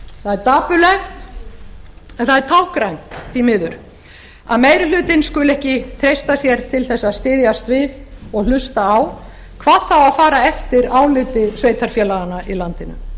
dapurlegt en það er táknrænt því miður að meiri hlutinn skuli ekki treysta sér til að styðjast við og hlusta á hvað þá að fara eftir áliti sveitarfélaganna í landinu